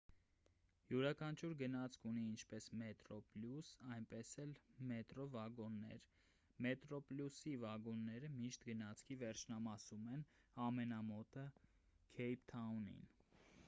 յուրաքանչյուր գնացք ունի ինչպես մետրոպլյուս այնպես էլ մետրո վագոններ մետրոպլյուսի վագոնները միշտ գնացքի վերջնամասում են ամենամոտը քեյփթաունին